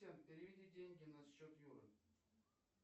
переведи деньги на счет юры